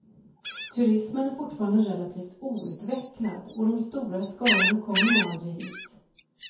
Turismen är fortfarande relativt outvecklad, och de stora skarorna kommer nog aldrig hit.